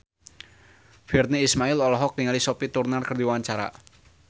Virnie Ismail olohok ningali Sophie Turner keur diwawancara